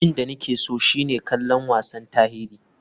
Abin da nake so shine kallon wasan tarihi.